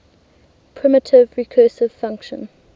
primitive recursive function